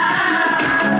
İsrail!